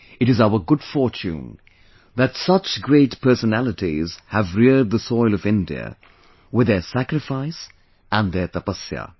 It is our good fortune that such great personalities have reared the soil of India with their sacrifice and their tapasya